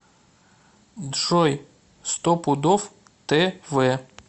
джой стопудов тэ вэ